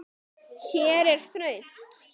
Hér er þröngt.